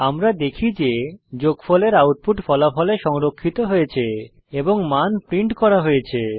আমরা দেখি যে যোগফলের আউটপুট ফলাফলে সংরক্ষিত হয়েছে এবং মান প্রিন্ট করা হয়েছে